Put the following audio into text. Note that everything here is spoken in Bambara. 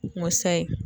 Musa ye